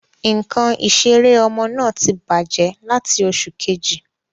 Ǹkan ìseré ọmọ náà tí bàjé lati oṣù Kejì